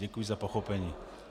Děkuji za pochopení.